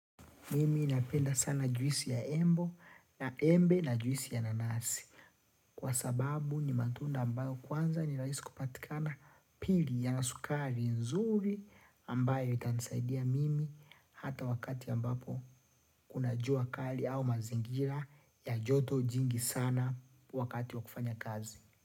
Mimi napenda sana juisi ya embo na embe na juisi ya nanasi. Kwa sababu ni matunda ambayo kwanza ni rahisi kupatikana pili yanasukari nzuri ambayo itanisaidia mimi hata wakati ambapo kuna jua kali au mazingira ya joto jingi sana wakati wa kufanya kazi.